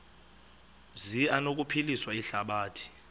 zi anokuphilisa ihlabathi